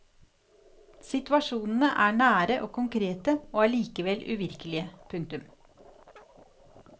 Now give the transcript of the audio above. Situasjonene er nære og konkrete og allikevel uvirkelige. punktum